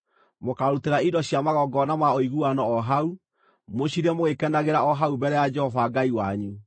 Mũkarutĩra indo cia magongona ma ũiguano o hau, mũcirĩe mũgĩkenagĩra o hau mbere ya Jehova Ngai wanyu.